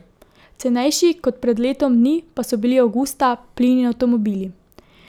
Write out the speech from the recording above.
Cenejši kot pred letom dni pa so bili avgusta plin in avtomobili.